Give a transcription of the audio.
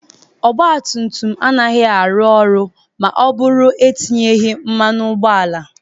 Ọgba tum tum agaghị arụnwu ọrụ ma ọ bụrụ etinyeghị mmanụ ụgbọala.